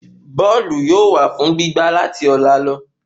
Bóòlù yóò wà fún gbí gbá láti ọ̀la lọ